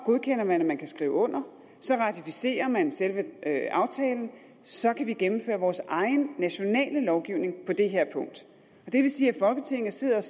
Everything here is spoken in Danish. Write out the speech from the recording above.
godkender man at man kan skrive under så ratificerer man selve aftalen og så kan vi gennemføre vores egen nationale lovgivning på det her punkt det vil sige at folketinget sådan